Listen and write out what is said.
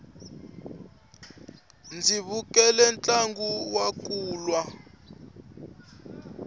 ndzi vukele ntlangu wa kulwa